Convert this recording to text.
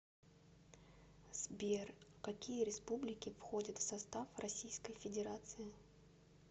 сбер какие республики входят в состав российской федерации